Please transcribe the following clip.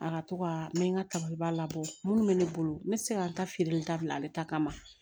A ka to ka n bɛ n ka tabalibaa labɔ minnu bɛ ne bolo n bɛ se ka n ta feere dabila ale ta kama